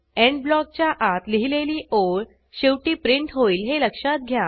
end ब्लॉकच्या आत लिहिलेली ओळ शेवटी प्रिंट होईल हे लक्षात घ्या